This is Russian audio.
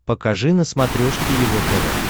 покажи на смотрешке его тв